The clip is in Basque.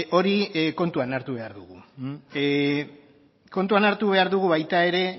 hori kontuan hartu behar dugu kontuan hartu behar dugu baita ere